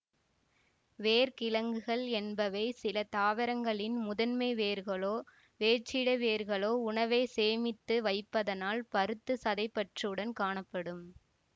வேர் கிழங்குகள் என்பவை சில தாவரங்களின் முதன்மை வேர்களோ வேற்றிட வேர்களோ உணவை சேமித்து வைப்பதனால் பருத்து சதைப்பற்றுடன் காணப்படும்